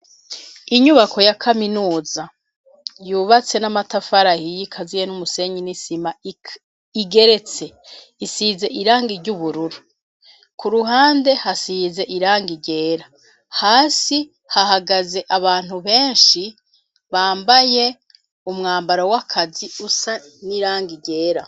Inyubako ya kaminuza, yubatse n'amatafari ahiye, ikaziye n'umusenyi n'isima, igeretse, isize irangi ry'ubururu; ku ruhande, hasize irangi ryera, hasi hahagaze abantu benshi, bambaye umwambaro w'akazi, usa n'irangi ryera.